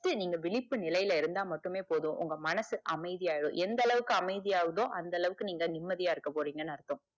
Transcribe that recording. just நீங்க விழிப்பு நிலைல இருந்தா மட்டுமே போது உங்க மனசு அமைதி ஆய்டும் எந்தளவுக்கு அமைதியாவுதோ அந்த அளவுக்கு நீங்க நிம்மதியா இருக்க போறிங்கனு அர்த்தம்